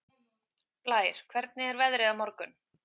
Blær, hvernig er veðrið á morgun?